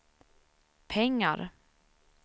pengar